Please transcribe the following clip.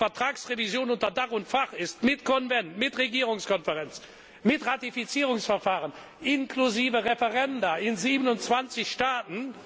Denn so viel Zeit ist nötig, bis die Vertragsrevision unter Dach und Fach ist mit Konvent, mit Regierungskonferenz, mit Ratifizierungsverfahren, inklusive Referenda in 27 Staaten.